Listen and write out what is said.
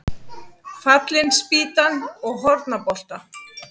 Fallin spýtan og Hornabolta.